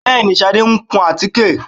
Bẹ́ẹ̀ni, Ṣadé ń kun àtíkè